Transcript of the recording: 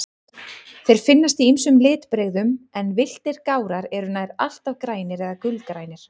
Þeir finnast í ýmsum litbrigðum, en villtir gárar eru nær alltaf grænir eða gulgrænir.